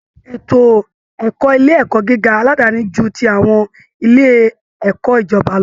Ètò ẹ̀kọ́ Ilé ẹ̀kọ́ gíga aládàáni ju ti àwọn ilé ẹ̀kọ́ ìjọba lọ